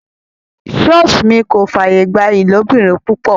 Ṣọọṣi mi kò fàyè gba ìlóbìrin-pupọ.